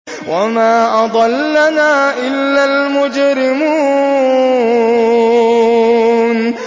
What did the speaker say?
وَمَا أَضَلَّنَا إِلَّا الْمُجْرِمُونَ